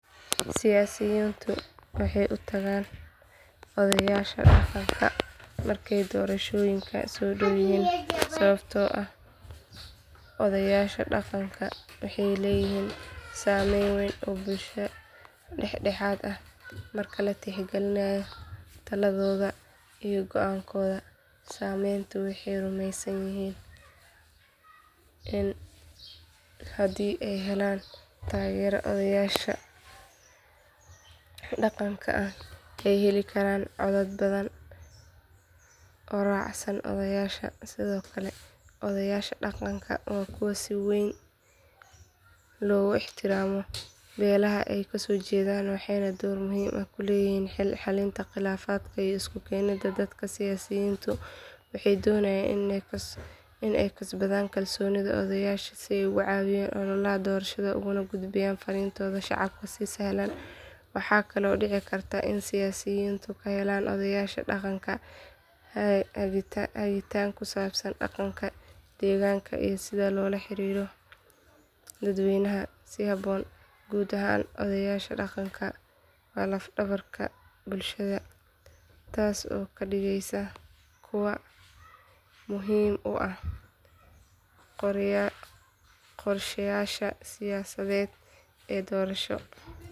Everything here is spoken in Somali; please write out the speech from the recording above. Sababta ugu weyn ayaa ah in odayaasha dhaqanka ay yihiin hormuudka bulshada, kana matalaan codka iyo rabitaanka dadweynaha deegaanka. Siyaasiyiintu waxay u arkaan in helitaanka taageerada odayaasha dhaqanka uu fududeyn karo helitaanka codadka doorashada, maadaama odayaashu leeyihiin saameyn weyn oo ay ku leeyihiin xubnaha bulshada, gaar ahaan marka ay timaado arrimaha dhaqanka, diinta, iyo xiriirka qoysaska. Intaa waxaa dheer, odayaasha dhaqanku waxay caadi ahaan yihiin kuwo leh xiriir dhow oo ay la leeyihiin dadka deegaanka, taasoo ka dhigaysa inay awoodaan inay si fudud u dhiirrigeliyaan taageerada musharaxa ay jecel yihiin.